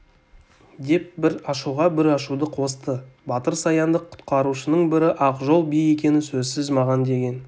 деп бір ашуға бір ашуды қосты батыр саянды құтқарушының бірі ақжол би екені сөзсіз маған деген